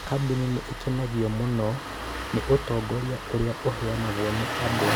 Kambuni nĩ ikenagio mũno nĩ ũtongoria ũrĩa ũheanagwo nĩ andũ.